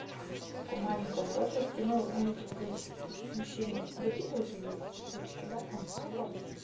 в таком маленьком возрасте ну они как бы мужчины дарили уже ей цветочки да там папа